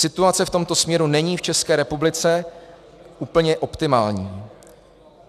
Situace v tomto směru není v České republice úplně optimální.